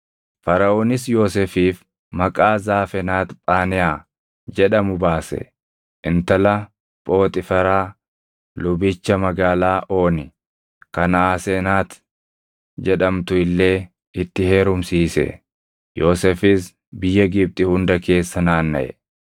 Faraʼoonis Yoosefiif maqaa Zaafenaat-Phaneʼaa jedhamu baase; intala Phooxiiferaa lubicha magaalaa Ooni kan Aasenati jedhamtu illee itti heerumsiise. Yoosefis biyya Gibxi hunda keessa naannaʼe.